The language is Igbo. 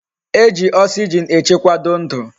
Eji oxygen echekwado ndu